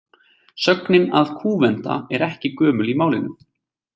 Sögnin að kúvenda er ekki gömul í málinu.